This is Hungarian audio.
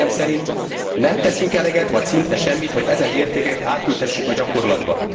Véleményen szerint, nem teszünk eleget, vagy szinte semmit, hogy ezen értékeket átültessük a gyakorlatba.